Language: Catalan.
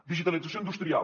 digitalització industrial